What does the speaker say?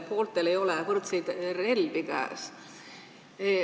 Pooltel ei ole võrdseid relvi käes.